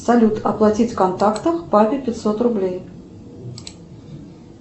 салют оплатить в контактах папе пятьсот рублей